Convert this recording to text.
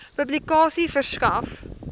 publikasie verskaf